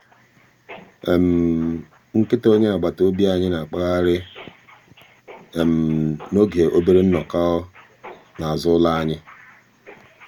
nkịta onye agbataobi anyị na-akpagharị n'oge obere nnọkọ n'azụ ụlọ um anyị.